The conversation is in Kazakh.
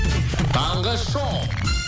таңғы шоу